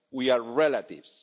We are relatives.